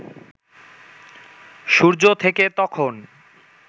সূর্য থেকে তখন